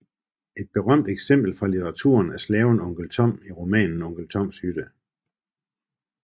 Et berømt eksempel fra litteraturen er slaven onkel Tom i romanen Onkel Toms Hytte